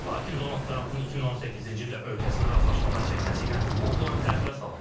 Lakin Donald Trampın 2018-ci ildə ölkəsini razılaşmadan çəkməsi ilə bu plan təxirə salındı.